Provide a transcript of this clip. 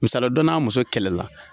Musaliya dɔ n'a muso kɛlɛ la.